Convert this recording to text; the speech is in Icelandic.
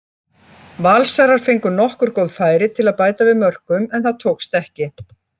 Valsarar fengu nokkur góð færi til að bæta við mörkum en það tókst ekki.